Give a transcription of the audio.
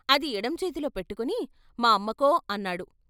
అది ఎడం చేతిలో పెట్టుకుని మా అమ్మకో అన్నాడు.